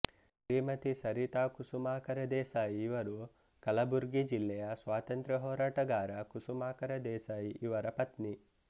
ಶ್ರೀಮತಿ ಸರಿತಾ ಕುಸುಮಾಕರ ದೇಸಾಯಿ ಇವರು ಕಲಬುರ್ಗಿ ಜಿಲ್ಲೆಯ ಸ್ವಾತಂತ್ರ್ಯ ಹೋರಾಟಗಾರ ಕುಸುಮಾಕರ ದೇಸಾಯಿ ಇವರ ಪತ್ನಿ